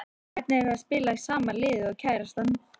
Hvernig er það að spila í sama liði og kærastan?